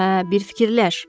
Hə, bir fikirləş.